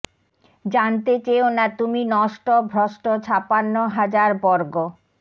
জানতে চেয়ো না তুমি নষ্ট ভ্রষ্ট ছাপ্পান্ন হাজার বর্গ